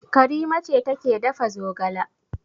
Karima ce take dafa zogala.